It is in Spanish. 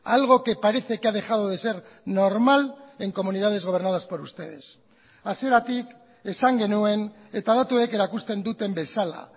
algo que parece que ha dejado de ser normal en comunidades gobernadas por ustedes hasieratik esan genuen eta datuek erakusten duten bezala